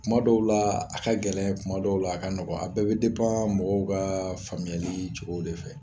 Tuma dɔw la a ka gɛlɛn, tuma dɔw la a ka nɔgɔn. A bɛɛ bɛ mɔgɔw kaa faamuyalii cogow de fɛ.